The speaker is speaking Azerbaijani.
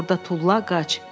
"Oğlanı orda tulla, qaç!"